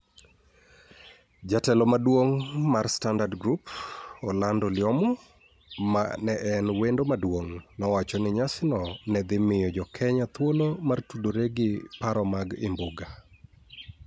Jatelo maduong' mar Standard Group, Orlando Lyomu, ma ne en wendo maduong', nowacho ni nyasino ne dhi miyo Jo-Kenya thuolo mar tudore gi paro mag Imbuga.